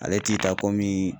Ale t'i ta komi